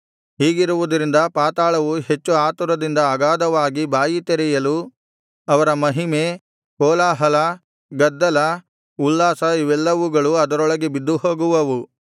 ಹೀಗಿರುವುದರಿಂದ ಪಾತಾಳವು ಹೆಚ್ಚು ಆತುರದಿಂದ ಅಗಾಧವಾಗಿ ಬಾಯಿ ತೆರೆಯಲು ಅವರ ಮಹಿಮೆ ಕೋಲಾಹಲ ಗದ್ದಲ ಉಲ್ಲಾಸ ಇವೆಲ್ಲವುಗಳು ಅದರೊಳಗೆ ಬಿದ್ದುಹೋಗುವವು